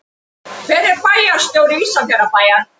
Hver er bæjarstjóri Ísafjarðarbæjar?